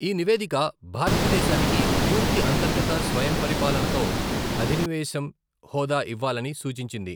ఈ నివేదిక భారతదేశానికి పూర్తి అంతర్గత స్వయంపరిపాలనతో అధినివేశం హోదా ఇవ్వాలని సూచించింది.